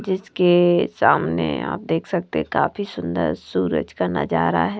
जिसके सामने आप देख सकते काफी सुंदर सूरज का नजारा है।